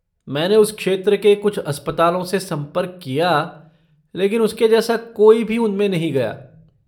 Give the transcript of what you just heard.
मैंने उस क्षेत्र के कुछ अस्पतालों से संपर्क किया लेकिन उसके जैसा कोई भी उनमें नहीं गया।